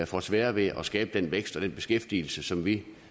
får sværere ved at skabe den vækst og den beskæftigelse som vi